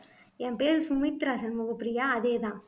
என் பேரு சுமித்ரா சண்முகப்பிரியா அதேதான்